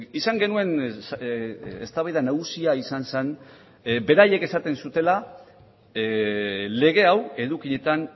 izan genuen eztabaida nagusia izan zen beraiek esaten zutela lege hau edukietan